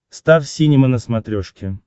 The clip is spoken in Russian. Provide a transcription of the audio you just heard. стар синема на смотрешке